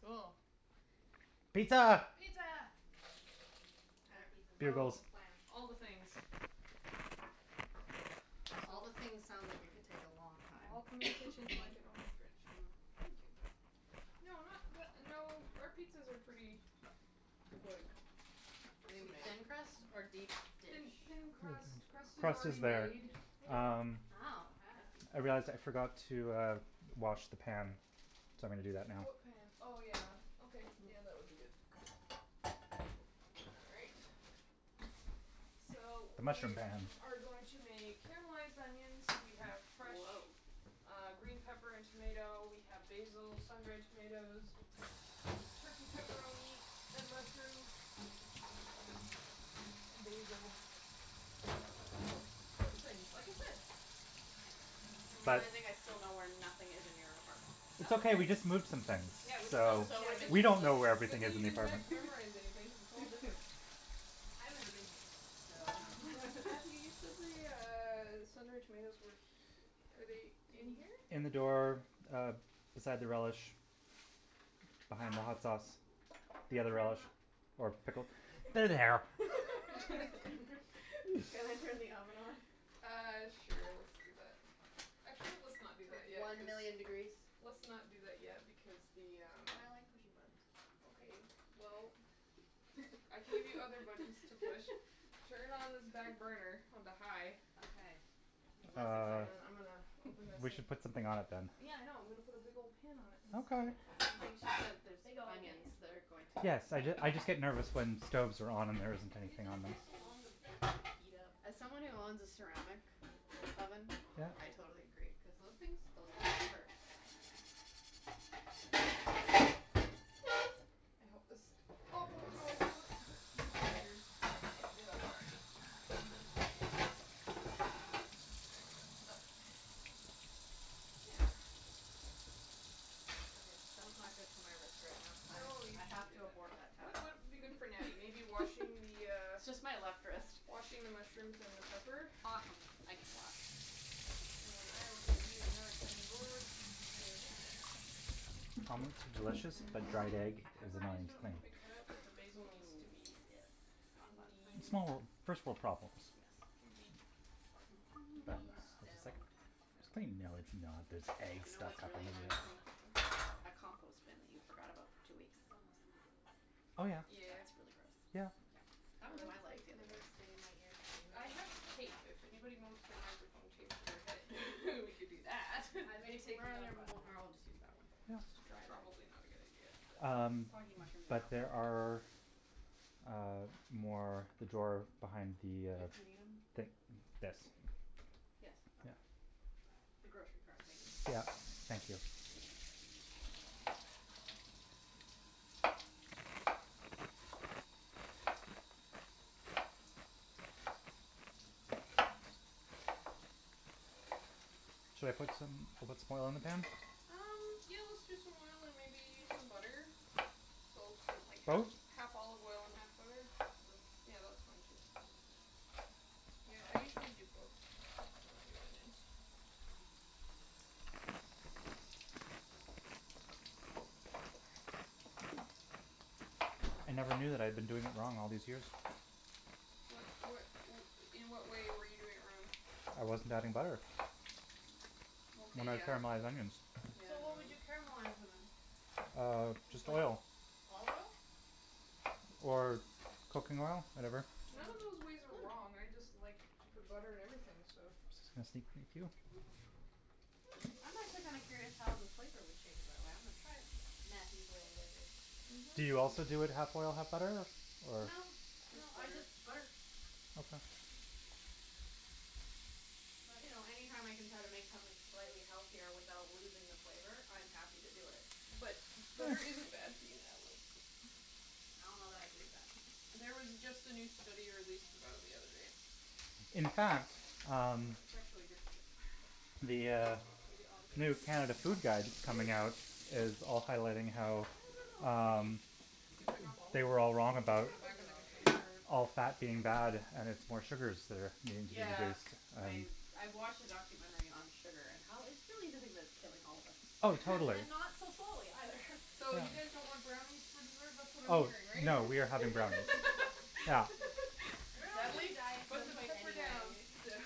Cool. Pizza. Pizza. What kind of pizza do we want to Oh. Bugles. plan? All the things. All the things sounds like it could take a long All time. come in the kitchen. It's like an open fridge. Mm. Thank you. No, not the no, our pizzas are pretty quick Is it going to to be make. thin crust or deep Thin dish? thin crust. Crust is Crust already is better. made. Uh. Wow. I see. Hey, Jas, I forgot to uh wash the pan, so I'm going to do that now. What pan? Oh, yeah. Okay, yeah, that would be good. All right. So, The we mushroom pan. are going to make caramelized onions. We have fresh Whoah. uh green pepper and tomato. We have basil, sun dried tomatoes. Turkey pepperoni, and mushrooms. And basil. All things, like I said. I'm realizing I still know where nothing is in your apartment. It's That's okay. We okay. just moved some things. Yeah, we just So moved. Yeah, did we don't know where we Good everything thing is you in the didn't re- apartment. memorize anything because it's all different. I've never been here before, so Matthew, you said the uh sun dried tomatoes were he- Are they in here? In the door, uh, beside the relish. Behind the Ah. hot sauce. The Can I other turn relish. the Or pickle. There they are. Thank you. Can I turn the oven on? Uh, sure, let's do that. Actually, let's not do that yet One cuz million degrees. Let's not do that yet because the um But I like pushing buttons. Okay, well, I can give you other buttons to push. Turn on this back burner onto high. Okay, less Um exciting. I'm gonna open this we and should put um something on it, then. Yeah, I know. I'm going to put a big old pan on it in Okay. a second. I think she said there's Big old pan. onions that are going to Yes, so I just I just get nervous when stoves are on and there isn't It anything just on takes so long to them. heat up. As someone who owns a ceramic oven, Yeah. I totally agree cuz those things those things can hurt. I hope this awful noise doesn't hurt anybody's ears. If it did, I'm sorry. There we go. Okay. Yeah. Okay, that's not good for my wrist right now. I I have to abort that What task. would be good for Natty? Maybe washing the uh Just my left wrist. Washing the mushrooms and the pepper? Awesome, I can wash. And then I will give you another cutting board. Is that okay? Omelettes are delicious, but dried egg is Pepperoni doesn't need to be cut up, but the basil needs to be. Mm, yes, not fun. Funny It's funny small small first world problems. Yes. Can be It's destemmed. it's like to know this egg You know stuck what's up really annoying to me? That compost bin that you forgot about for two weeks. Oh, yeah. Yeah yeah yeah That's really gross. Yeah. Yeah. That was Headphones my life like the other day. never stay in my ears I anyway. have tape. If anyone wants their microphone taped to their head, we could do that. I'm gonna take Where are you there up on more that. I'll just use that one, just to dry it off. Probably not a good idea but Um Soggy mushrooms but aren't. there are, uh, more in the drawer behind the uh If we need them. The this Yes. Yeah. The grocery cart thingy. Yeah, thank you. Should I put some should I put some more oil on the pan? Um, yeah, let's do some oil and maybe some butter. So something like half Both? half olive oil and half butter. Or yeah that's fine too. Yeah, I usually do both when I do onions. I never knew that I've been doing it wrong all these years. What what In what way were you doing it wrong? I wasn't adding butter. Okay When I yeah caramelize onions. So what would you Yeah caramelize them in? Um, Just just like oil. olive oil? Or cooking oil, whatever. Mm. None of those ways are wrong. Mm. I just like to put butter in everything, so I'm just gonna sneak thank you. I'm actually kinda curious how the flavor would change that way. I'm gonna try it. Matthew's way Do you also do it half oil, half butter or? No, no, Just I butter. just butter. Okay. But, you know, any time I can try to make something slightly healthier without losing the flavor, I'm happy to do it. But butter isn't bad for you, Natalie. I don't know that I believe that. There was just a new study released about it the other day. In fact, um, It's actually good for you. the uh new Canada Food Guide coming out is also highlighting I how don't know how much we need. um You can pick off all of they were all I think them. I'm wrong We'll just about put them gonna back in do all the of it. container all or put fat them being bad and it's more sugars that are being Yeah, introduced. I I watched a documentary on sugar and how it's really the thing that's killing all of us. Oh, totally. And not so slowly either. So you guys don't want brownies for dessert? That's what I'm Oh, hearing, right? no, we are having brownies. Yeah. We're all going to be on Natalie, a diet at put some the point pepper down. anyway, so.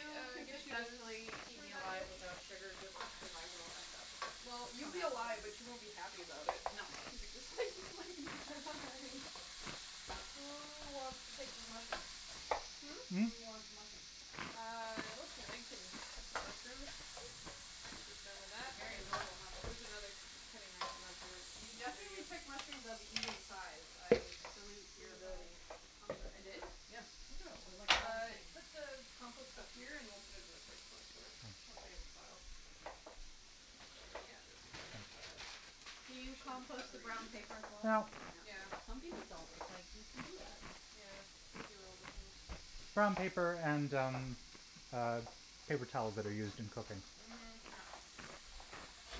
If you could get you successfully keep me alive to without sugar, good luck because I will end up Well, you'll coming be after alive, but you. you won't be happy about it. No. Who wants to take these mushrooms? Hmm? Hmm? Who wants mushrooms? Uh, let's see, Meg can cut some mushrooms. When she's done with They're that. very adorable There's mushrooms. another k- cutting knife in that drawer You under definitely you. pick mushrooms of an even size. I salute your Peanut ability. I did? butter Yeah. Look at them. They're like all the Uh same. put the compost up Oh. here and we'll put it in the fridge once we once we have a pile. Yeah, that's Can you compost the brown paper as Well, well? yeah. Some people don't. It's like, you can do that. Yeah. We do all the things. Brown paper and, um, paper uh towels that are used in cooking. Mhm. Yeah.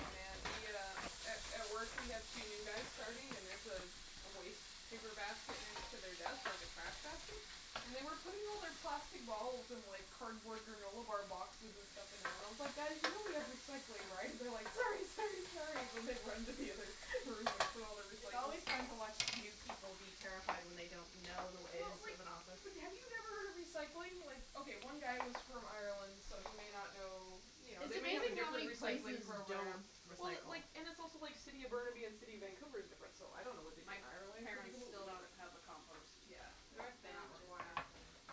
Oh, man, the uh A at work we have two new guys starting and there's a waste paper basket next to their desk, like a trash basket, and they were putting all their plastic bottles and like cardboard granola bar boxes and stuff in there, and I was like, "Guys, you know we have recycling, right?" And they're like, "Sorry, sorry, sorry," and they run into the other room and put all their It's recycling. always fun to watch new people be terrified when they don't know the Well, ways like, of an office. but have you never heard of recycling? Like, okay, one guy was from Ireland, so he may not know, you know, It's they may have a amazing how different many recycling places don't program. Well, recycle. like, and it's also like City of Burnaby and City of Vancouver is different, so I don't know what they do My in Ireland. It could be parents completely still don't different. have a compost. Yeah. They North they are not Van just required. got them.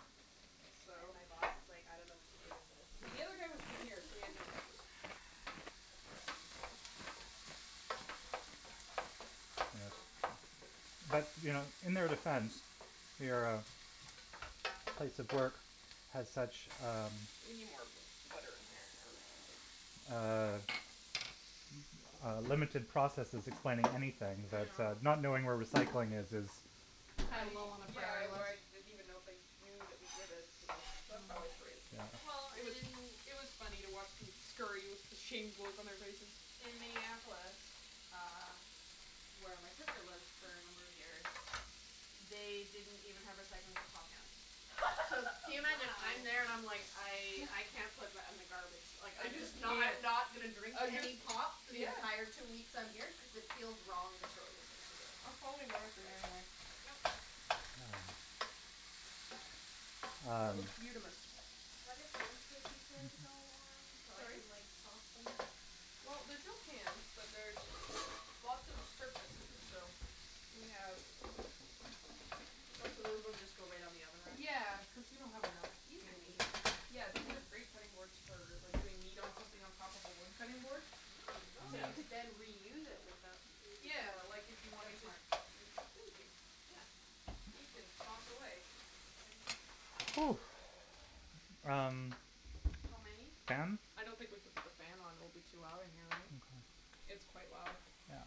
And So my boss is like, "I don't know what to do with this." The other guy was from here, so he had no excuse. As far as I am concerned. Yeah. But, you know, in their defense, your place of work has such, um We need more bu- butter in here or something. Uh uh limited processes explaining anything I that uh know. not knowing where recycling is is I Kind of low on the yeah, priority list. I didn't even know if they knew that we did it, so that's that's Mm. how I phrased it. Well, It was in it was funny to watch them scurry with the shamed look on their faces. In Minneapolis, uh, where my sister lived for a number of years, they didn't even have recycling for pop cans. So, can you imagine? I'm there and I'm like, Wow. "I I can't put that in the garbage." Like, I I'm just just knew not it. not gonna drink I any just pop for the yeah. entire two weeks I'm here cuz it feels wrong to throw this into the It's probably better for you like anyway. like yeah That Um. looks beautamis. Are there pans for the pizza to go on so I Sorry? can like sauce them? Well, there's no pans, but there's lots of surface, so We have What, so those ones just go right on the oven rack? Yeah, cuz we don't have enough These are amazing. Yeah, these are great cutting boards for like doing meat on something on top of a wood cutting board. Oh. So you could then reuse it without Yeah, like if you wanted to Thank you. Yeah. You can sauce away. Mm. Oh. Um How many? Fan? I don't think we can put the fan on. It will be too loud in here, right? It's Okay. quite loud. Yeah.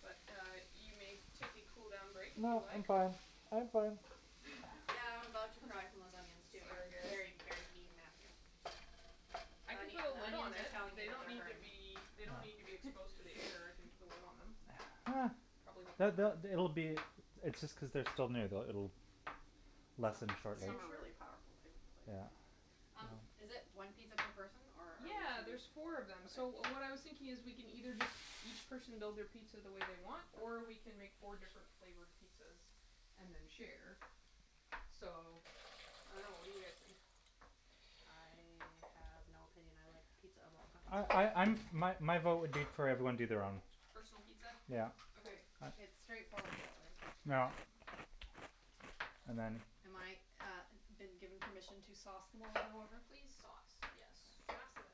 But uh you may take a cool down break if you No, I'm like. fine, I'm fine. Yeah, I'm about to cry from those onions, too. Sorry, You're guys. very, very mean Matthew. I can The put a the lid onions on are it. telling you They that don't they're need to hurting. be They don't need to be exposed to the air. I can put a lid on them. Uh Probably It'll be It's just cuz they're still new that it'll lessen Are shortly. you Some are sure? really powerful, too like Yeah. um Um, is it one pizza per person or? Yeah, there's four of them. So what I was thinking is, we can either just each person build their pizza the way they want, or we can make four different flavored pizzas and then share. So, I don't know. What do you guys think? I have no opinion. I like pizza of all kinds. Oh I I'm My my vote would be for everyone to do their own. Personal pizza? Yeah. Okay. Okay. Uh It's straightforward that way. Yeah. And then. Am I, uh, been given permission to sauce them all in order? Please sauce, yes. Okay. Sauce away.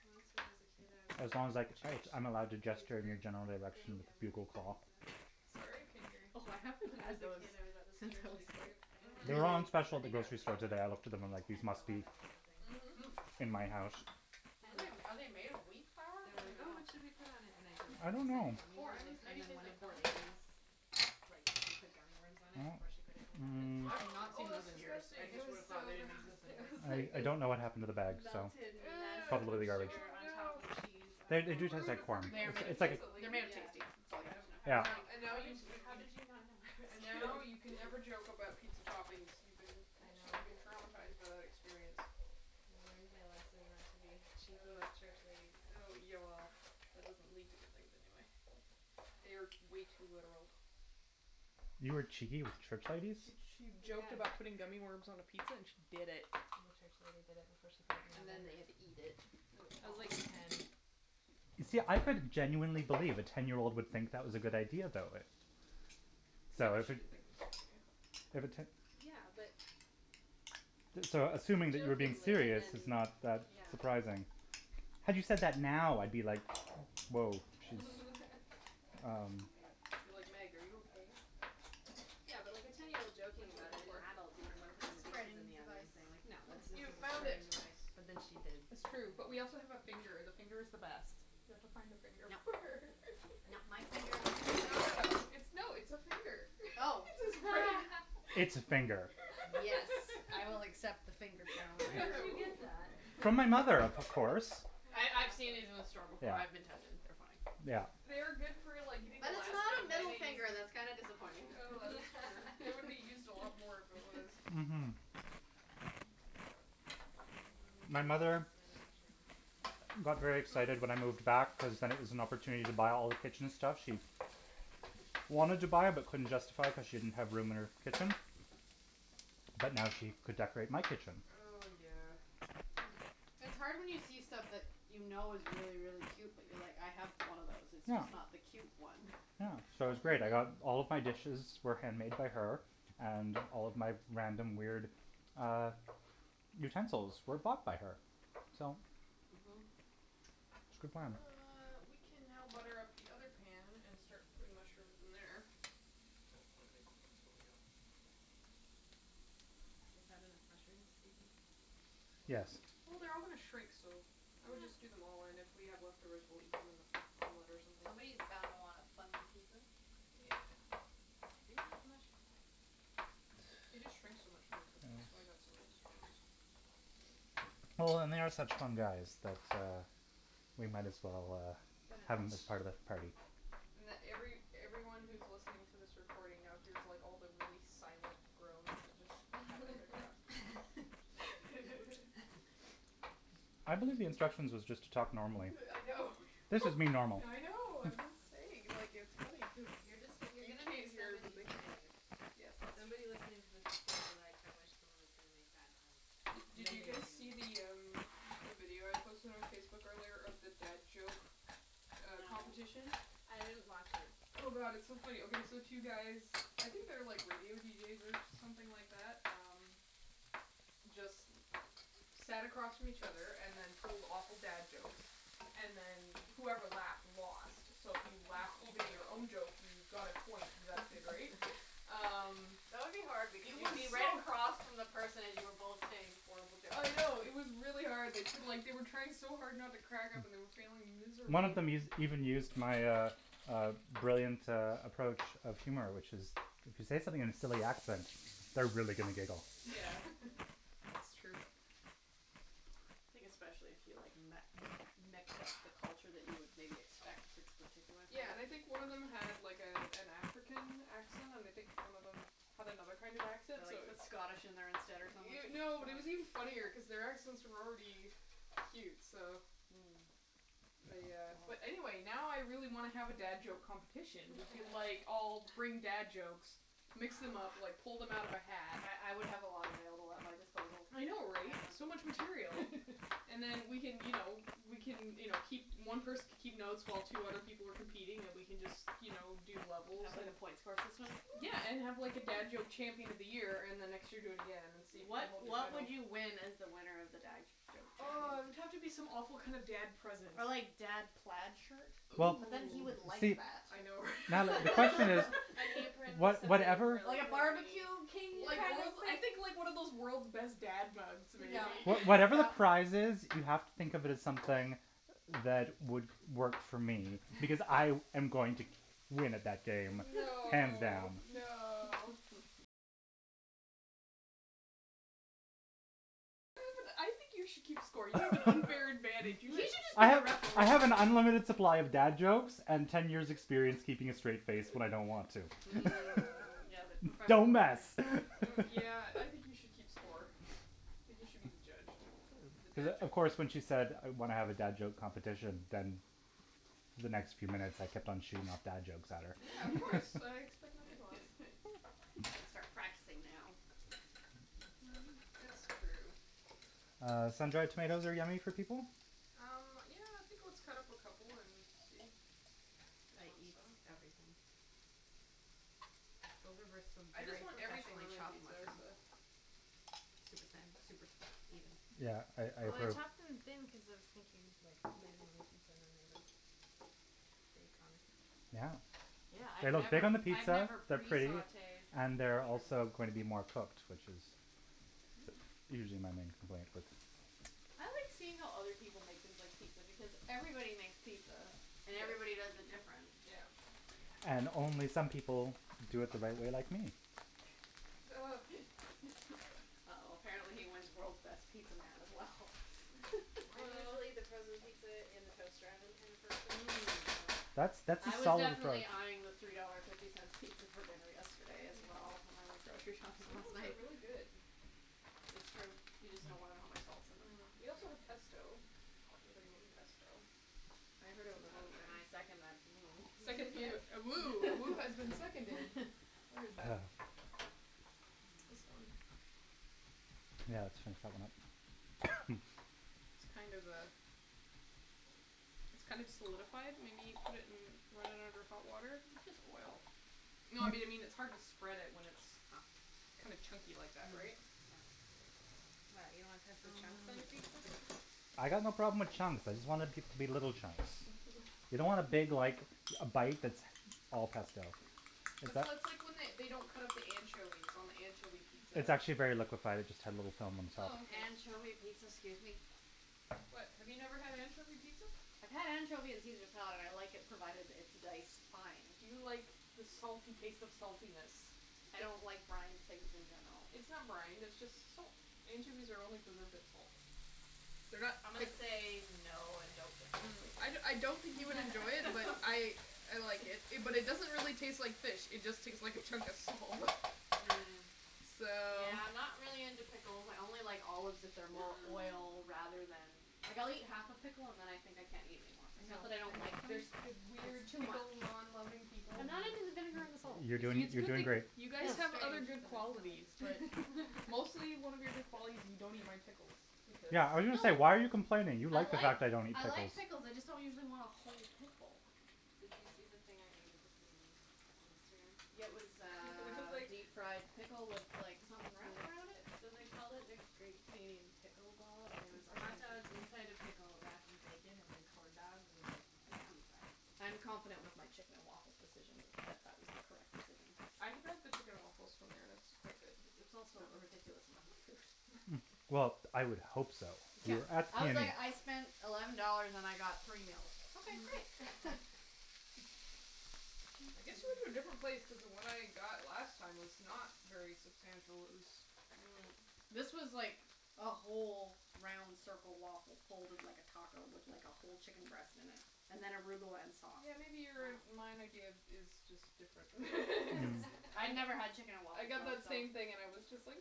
Once when I was a kid, I was at As long as like church I'm allowed to youth gesture in your group general thing election and we were bugle making call. pizzas. Sorry, I couldn't hear you. Oh, I haven't When I was had a those kid, I was at this since church I was youth like. group thing Mhm. making They're all on pizzas. special I at the think I was grocery store making today. I looked at them and like like they ten or must be eleven or something. Hmm. Mhm. in my house. Mm. Are they made of wheat flour? They were I like, "Oh, dunno. what should we put on it," and I I don't jokingly said know. gummy Corn. It's worms and maybe then tastes one like of the corn. ladies, like, put gummy worms on it before she put it in the oven. I've not Oh, seen those that's in years. I disgusting. It just was would've thought so they didn't gross. exist It anymore. was I like I this don't know what happened to the bag, so melted mess Ew. probably of in the garbage. sugar Oh on top no. of cheese. And they You do taste ruined a like corn. They perfectly are made It's good of it's like taste. pizza, They're lady. made of Yeah. tasty. It's all you need I I to Yeah. was like, know. And now "How did you you how did you not know and I was kidding?" now you can never joke about pizza toppings. You've been. I I'm sure know. you've been traumatized by that experience. I learned my lesson not to be cheeky Uh with church ladies. uh yeah, well, that doesn't lead to good things anyway. They are way too literal. You were cheeky with church ladies? She che- Yeah. joked about putting gummy worms on a pizza, and she did it. The church lady did it before she put it And in the oven. then we had to eat it. I was like ten. See, I could genuinely believe a ten year old would think that was a good idea, though, eh. So Yeah, I but was she didn't think it was a good idea. Yeah, but. So, assuming that you were being Jokingly and serious is then not that Yeah. surprising. Had you said that now, I'd be like, "Whoah she's" Um It'd be like, "Meg, are you okay?" Yeah, but like a ten year old joking What you about looking it and the for? adult being the one A putting pizzas in spreading the oven device. and saying, like, no, Use that's this not You as a found spreading okay. it. device. But then she did That's true. But we also have a finger. And the finger is the best. You have to find a finger. No, no, my finger wasn't. No, no, no. It's no, it's Oh. It's a finger. Yes, I will accept the finger challenge. Where did you get Ooh. that? From my mother, of course. I I've seen it in the store before. Yeah. I've been tempted Yeah. They are good for, like, getting the But it's last bit not of a middle mayonnaise. finger. That's kinda disappointing. Oh, that is true. It would be used a lot more if it was. Mm- hm. What do we do with My this mother amount of mushroom? got very excited when I Hmm? moved back cuz then it was an opportunity to buy all the kitchen stuff she wanted to buy but couldn't justify it cuz she didn't have room in her kitchen. But now she could decorate my kitchen. Oh, yeah. It's hard when you see stuff that you know is really, really cute but you're like, "I have one of those, it's just not the cute one." Uh, so it was great. I got all of my dishes were hand made by her. And all of my random, weird uh utensils were bought by her. So, Mm- hm. it was good planning. Uh, we can now butter up the pan and start putting mushrooms in there. Oh, my microphone's falling out. Is that enough mushrooms, do you think? Yes. Well, they're all going to shrink, so I would just do them all. And if we have leftovers, we'll eat them on a on bread or something. Somebody is bound to wanna fungi pizza. Yeah. I do like mushrooms. They just shrink so much when they cook. That's why I've got some extra ones. Well, they are such fun guys that uh we might as well uh But uh have them as part of the party. And every everyone who's listening to this recording now here's like all the really silent groans that just happened. I believe the instructions was just to talk normally. Yeah I know. This is me normal. I know, I'm just saying. Like, it's funny cuz You're just you're you going to make can't hear it but somebody's they can hear day. it. Yes, that's Somebody true. listening to this is going to be like, "I wish someone is gonna make bad puns," and Did then you they guys see the um the video I posted on Facebook earlier of the dad joke uh No. competition? No. I didn't watch it. Oh, god, it's so funny. Okay, so two guys, I think they're like radio deejays or something like that. Um, just sat across from each other and then told awful dad jokes and then whoever laughed lost. So if you laughed, even at your own joke, you got a point deducted, right? Um, That would be hard it because you'd be was right so across from the person as you were both saying horrible jokes. I know, it was really hard. They took like they were trying so hard not to crack up and were failing One of miserably. them us- used even used my uh uh brilliant uh approach of humor, which is If you say something in silly accent, they're really gonna giggle. Yeah, it's true. I think especially if you like met mix up the culture that you would maybe expect for this particular thing. Yeah, and I think one of them had like a an African accent, and I think one of them had another kind of accent, Or so like it put Scottish in there instead or something No, it was even funnier cuz their accents were already cute, so Mm. they uh Oh. But anyway, now I really want to have a dad joke competition. We could like all bring dad jokes, mix them up, like pull them out of a hat. I I would have a lot available at my disposal. I know, right? Yeah. So much material. And then we can, you know, we can, you know, keep One person can keep notes while two other people were competing and we can just, you know, do And levels. have like a point score system? Yeah, and have like a dad joke champion of the year and the next year do again and see if you can What hold your what title. would you win as the winner of the dad joke Oh, champion? it would have to be some awful kinda dad present. Ah, like, dad plaid shirt? Well, But then, he Ooh. would like see. that. I know Natalie, the question is, An apron, was something whatever really Like a corny. barbecue king Yeah. kind of I thing? think, like, one of those world's best dad mugs maybe. What- whatever the prize is, you have to think of it as something that would work for me because I am going to win it that day, hands No, down. no. You should just I be a have referee. I have an unlimited supply of dad jokes and ten years experience keeping a straight face when I don't want to. Mm, yeah, like a Don't professional thing. mess Yeah, I think you should keep score. I think you should be the judge of the dad of joke course, when she said when I have a dad joke competition, then the next few minutes I kept on shooting off dad jokes at her. Yeah, of course. I expect nothing less. You got to start practicing now. It's true. Uh, sun dried tomatoes are yummy for people? Um, yeah, I think let's cut up a couple and see if they I eat eat them. everything. Those are some I just very want everything professionally on my chopped pizza, so. mushrooms. Super thin, super even. Yeah, I I Well, I agree. Bravo. chopped them thin cuz I was thinking you'd like lay it on the pizza and then they would bake on the pizza. Yeah. Yeah, I've They look good never on the I've pizza, never they're pre pretty sautéed and they're also mushrooms. going to be more cooked, which is usually my main complaint, but I like seeing how other people make things like pizza because everybody makes pizza, and everybody does Yes. it different. Yeah. And only some people do it the right way, like me. Ugh. Uh oh, apparently he wins world's best pizza man as well. I'm usually the frozen pizza in the toaster oven kind of person. That's that's a I was solid approach. definitely eyeing the three dollar fifty cents pizza for dinner yesterday as well when I went grocery shopping Some of last those are night. really good. It's true, you just don't want to know how much salt's in them. Mm. We also have pesto if anybody wants Mmm. pesto. I heard a woo, and I second that woo. A second A woo has been seconded. Where is that? This one. Yeah, let's finish that one up. It's kind of uh It's kind of solidified. We need put it in run it under hot water. It's just oil. No, I mean it's hard to spread it when it's kinda chunky Ah like that, right? mm What, you don't want yeah pesto chunks on your pizza? mm I got no problem with chunks. I just want it to be little chunks. You don't want a big, like, a bite that's all pesto. So It's a that's like when they don't cut up the anchovies on the anchovy pizza. It's actually very liquified. It just had a little film on top. Oh, okay. Anchovy pizza? Excuse me? What, have you never had anchovy pizza? I've had anchovy on Caesar salad. I like it provided it's diced fine. Do you like the salty taste of saltiness? I don't like brined things in general. It's not brined, it's just salt. Anchovies are only preserved in salt. They're not I'm gonna say no and don't Mm. I I don't think you would enjoy it, but I I like it. But it doesn't really taste like fish, it just tastes like a chunk of salt. Mm, So yeah, I'm not really into pickles. I only like olives if they're more oil rather than Like, I'll eat half a pickle and then I think I can't eat anymore. I It's know, not that I I don't like them know. The weird It's too much. pickle non loving people. I'm not Mm. into the vinegar and the Yeah salt. You're doing It's a strange you're good thing doing great. you but guys have other I good still qualities, but like it. mostly one of your good qualities is you don't eat my pickles because No Yeah, I was going to say, "Why are you complaining?" You I like the like fact I don't eat I pickles. like pickles, I just don't usually want a whole pickle. Did you see the thing I ate at the PNE on Instagram? Yeah, it was It was uh like deep fried pickle with like something wrapped around it? So they called it a Great Canadian Pickle Ball, and it was a hotdog inside a pickled wrapped in bacon and then corn dogged and like deep fried. Yeah. I'm confident with my chicken and waffles decision, that that was the correct decision. I have had the chicken and waffles from there and it's quite good. It was also a ridiculous amount of food. Well, I would hope so Yeah. I was like, "I spent eleven dollars and I got three meals." Okay, great. I guess you went to a different place cuz the one I got last time was not very substantial. It was Mm. This was like a whole round circle waffle folded like a taco with, like, a whole chicken breast in it and then arugula and sauce. Yeah, maybe your and my idea is Wow. just different I never had chicken and I waffles, got that so. same thing and it was just huh.